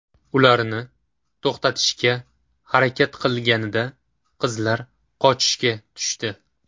Ularni to‘xatishga harakat qilinganida qizlar qochishga tushdi.